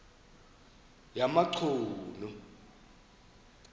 yamachunu